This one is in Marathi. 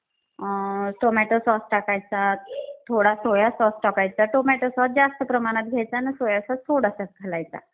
अं टोमॅटो सॉस टाकायचा, थोडा सोया सॉस टाकायचा. टोमॅटो सॉस जास्त प्रमाणात घ्यायचा न सोया सॉस थोडासाच घालायचा.